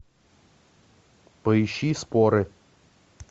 поищи споры